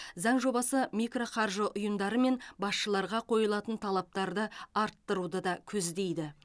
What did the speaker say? заң жобасы микроқаржы ұйымдары мен басшыларға қойылатын талаптарды арттыруды да көздейді